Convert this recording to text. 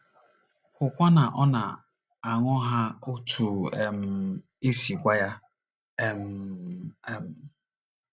Hụkwa na ọ na - aṅụ ha otú um e si gwa ya um.